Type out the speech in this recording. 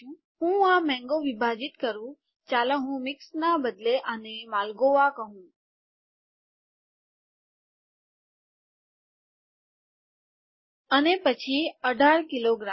હું આ મેંગો વિભાજીત કરું ચાલો હું મિક્સ્ડ ના બદલે આને માલ્ગોં કહું અને પછી ૧૮ કિલોગ્રામ